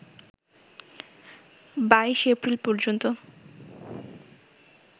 ২২ April পর্যন্ত